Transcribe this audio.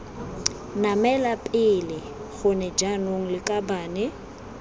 namela pele gone jaanong lakabane